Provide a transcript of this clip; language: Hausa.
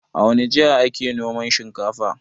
A wani jiha ake noman shinkafa?